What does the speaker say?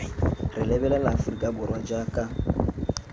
re lebelela aforika borwa jaaka